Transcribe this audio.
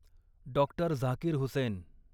doctor Zakir Hussain